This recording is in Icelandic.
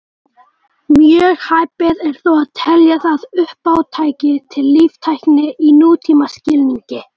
Mjög hæpið er þó að telja það uppátæki til líftækni í nútímaskilningi.